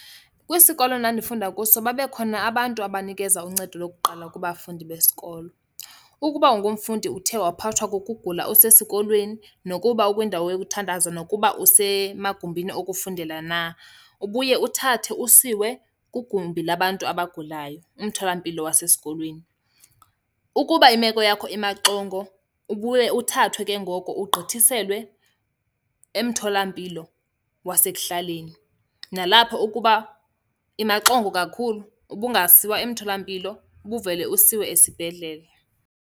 Kwisikolo endandifunda kuso babekhona abantu abanikeza uncedo lokuqala kubafundi besikolo. Ukuba ungumfundi uthe waphathwa kukugula usesikolweni nokuba ukwindawo yokuthandaza nokuba usemagumbini okufundela na, ubuye uthathe usiwe kwigumbi labantu abagulayo, umtholampilo wasesikolweni. Ukuba imeko yakho imaxongo, ubuye uthathwe ke ngoko ugqithiselwe emtholampilo wasekuhlaleni. Nalapho ukuba imaxongo kakhulu ubungasiwa emtholampilo, ubuvela usiwe esibhedlele.